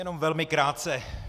Jenom velmi krátce.